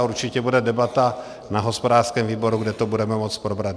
A určitě bude debata na hospodářském výboru, kde to budeme moci probrat.